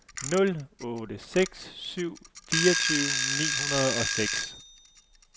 nul otte seks syv fireogtyve ni hundrede og seks